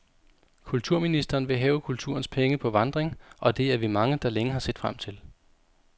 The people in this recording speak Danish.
Kulturministeren vil have kulturens penge på vandring, og det er vi mange, der længe har set frem til.